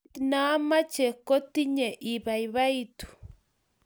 Kiit naamache kotinye ibaibaitu